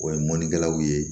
O ye mɔnikɛlaw ye